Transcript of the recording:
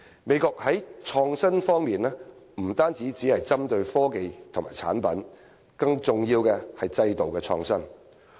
美國在創新方面不只針對科技和產品，更重要的是制度創新。